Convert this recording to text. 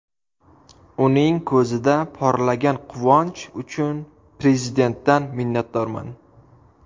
Uning ko‘zida porlagan quvonch uchun Prezidentdan minnatdorman.